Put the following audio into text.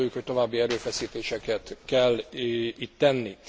Azt gondoljuk, hogy további erőfeszítéseket kell itt tenni.